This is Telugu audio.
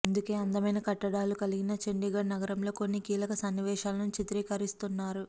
అందుకే అందమైన కట్టడాలు కలిగిన చండీగఢ్ నగరంలో కొన్ని కీలక సన్నివేశాలను చిత్రీకరిస్తున్నారు